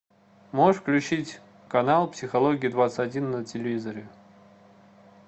можешь включить канал психология двадцать один на телевизоре